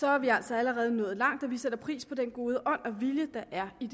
er vi altså allerede nået langt og vi sætter pris på den gode ånd og vilje der er i